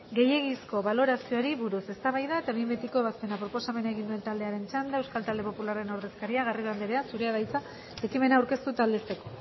gehiegizko balorazioari buruz eztabaida eta behin betiko ebazpena proposamena egin duen taldearen txanda euskal talde popularraren ordezkaria garrido anderea zurea da hitza ekimena aurkeztu eta aldezteko